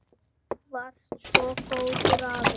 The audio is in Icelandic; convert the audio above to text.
Þú varst svo góður afi.